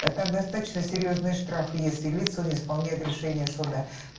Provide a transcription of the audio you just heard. это достаточно серьёзные штрафы если лица не исполняют решение суда